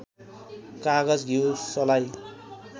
कागज घिउ सलाई